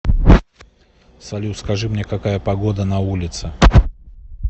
салют скажи мне какая погода на улице